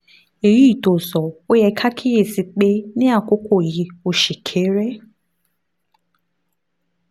èyí tó sọ ó yẹ ká kíyè sí i pé ní àkókò yìí ó ṣì kéré